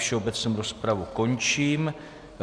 Všeobecnou rozpravu končím.